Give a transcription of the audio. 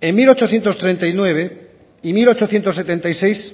en mil ochocientos treinta y nueve y mil ochocientos setenta y seis